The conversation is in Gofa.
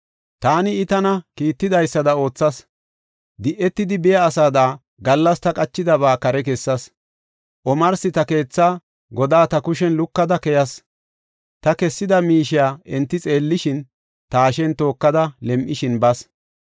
Taani I tana kiittidaysada oothas. Di7etidi biya asada, gallas ta qachidaba kare kessas. Omarsi ta keetha godaa ta kushen lukada keyas; ta kessida miishiya enti xeellishin, ta hashen tookada, lem7ishin bas.